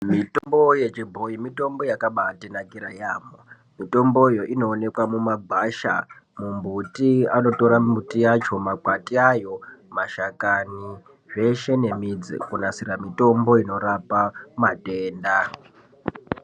Mitombo yechibhoyi mitombo yakaba atinakira yamho mitomboyo inoonekwa mumagwasha mumbuti , anotora miti yacho makwati ayo mashakani zveshe nemidzi kunasira mitombo inorapa matenda.